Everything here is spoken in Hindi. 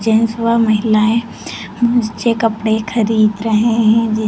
जेन्टस व महिलाएं बच्चे कपड़े खरीद रहे हैं।